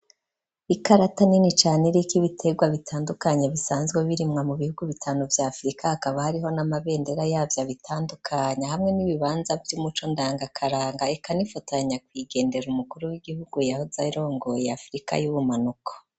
Ikarata nini cane iriko ibitegwa bitandukanye bisanzwe birimwa mu bihugu bitanu bya afrika akaba hariho n'amabendera yavyo abitandukanya hamwe n'ibibanza by'umuco ndangakaranga ekanifatanya kuigendera umukuru w'igihugu ya uzirongo ya afrika y'ubumanuko.